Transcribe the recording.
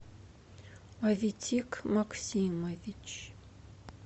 аветик максимович